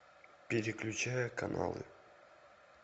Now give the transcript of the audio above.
переключая каналы